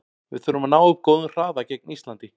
Við þurfum að ná upp góðum hraða gegn Íslandi.